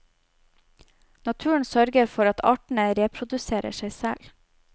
Naturen sørger for at artene reproduserer seg selv.